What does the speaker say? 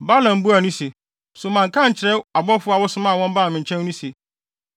Balaam buaa no se, “So manka ankyerɛ abɔfo a wosomaa wɔn baa me nkyɛn no se,